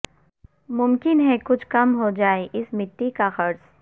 ممکن ہے کچھ کم ہو جائے اس مٹی کا قرض